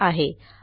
यांनी दिलेला आहे